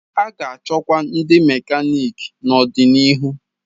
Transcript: A ga-achọkwa ndi mekaniki n'ọdịniihu.